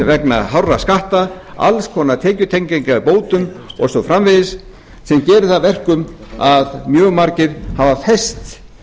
vegna hárra skatta alls konar tekjutengingar bótum og svo framvegis sem gerir það að verkum að mjög margir hafa fest